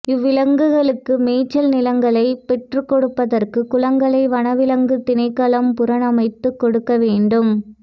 இவ்விலங்குகளுக்காக மேய்ச்சல் நிலங்களை பெற்றுக்கொடுப்பதற்கு குளங்களை வனவிலங்கு திணைக்களம் புனரமைத்துக் கொடுக்க வேண்டும்